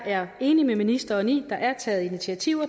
er enig med ministeren i at der er taget initiativer